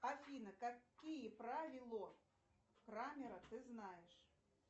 афина какие правило крамера ты знаешь